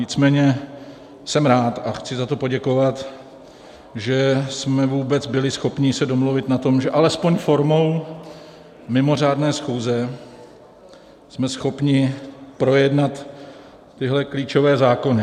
Nicméně jsem rád a chci za to poděkovat, že jsme vůbec byli schopni se domluvit na tom, že alespoň formou mimořádné schůze jsme schopni projednat tyhle klíčové zákony.